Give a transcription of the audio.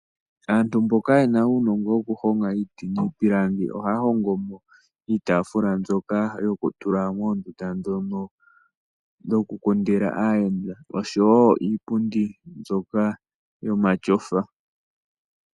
Aantu mboka yena uunongo woku honga iiti niipilangi ohaya hongomo iitafula mbyoka yoku tula moondunda ndhono dhoku kundila aayenda oshowo iipundi mbyoka yomatyofa.